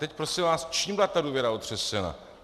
Teď prosím vás, čím byla ta důvěra otřesena?